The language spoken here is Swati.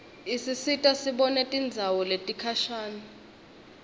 isisita sibone tindzawo letikhashane